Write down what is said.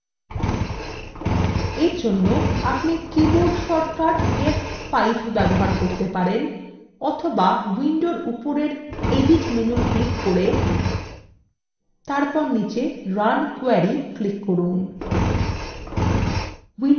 এরজন্য আপনি keyboard shortcut f5 ব্যবহার করতে পারেন অথবা window উপরের edit menu click করে